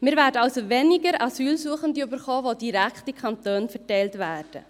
Wir werden also weniger Asylsuchende erhalten, die direkt in die Kantone verteilt werden.